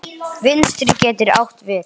Vinstri getur átt við